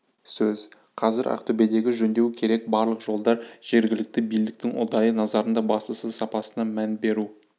сөз қазір ақтөбедегі жөндеу керек барлық жолдар жергілікті билдіктің ұдайы назарында бастысы сапасына мән беру